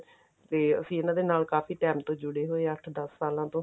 ਫਿਰ ਇਹਨਾ ਦੇ ਨਾਲ ਕਾਫੀ time ਤੋਂ ਜੁੜੇ ਹੋਏ ਆਂ ਅੱਠ ਦਸ ਸਾਲਾਂ ਤੋਂ